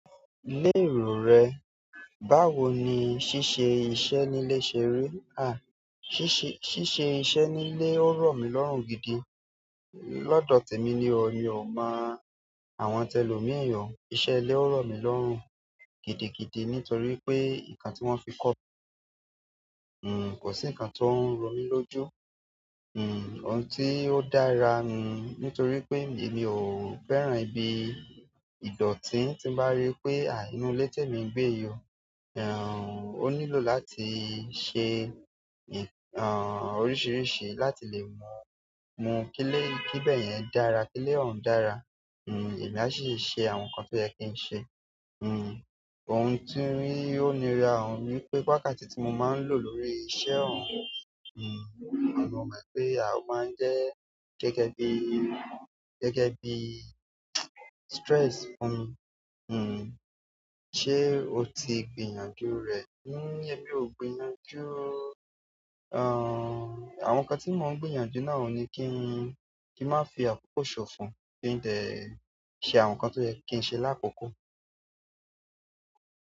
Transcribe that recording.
Lérò rẹ̀, báwo ni ṣíṣe iṣẹ́ nílé ṣe rí? À, ṣíṣe, ṣíṣe iṣẹ́ nílé ò rọ̀ mí lọ́rùn gidi. Lọ́dọ̀ tèmi ni o, mi ò mọ àwọn tẹlòmí o. Iṣẹ́ ilé ò rọ̀ mí lọ́rùn gidigidi nítorí pé nǹkan tí wọ́n fi kọ́ mi, kò sí nǹkan tó ń ro mí lójú. Ohun tí ó dára nù nítorí pé èmi ò fẹ́ràn ibi ìdọ̀tí tí ń bá rí pé à inú ilé tèmi ń gbé yí o. Ó nílò láti ṣe oríṣiríṣi láti lè mú, mú kílé kíbẹ̀ yẹn dára, kílé òún dára. Èmi á ṣì ṣe àwọn nǹkan tó yẹ kí n ṣe. Ohun ti ó nira òun ni wípé wákàtí tí mo máa n lò lórí iṣẹ́ ọ̀hún, mo mọ́ pé ó máa n jẹ́ gẹ́gẹ́ bí stress fún mi. Ṣé o tí gbìyànjú rẹ̀? Èmi ò gbìyànjú o. Àwọn nǹkan tí mò ń gbìyànjú náà ni kí n, kí n màá fi àkókò ṣòfò, kí n dẹ̀ ṣe àwọn nǹkan tó yẹ kí n ṣe lákòókò.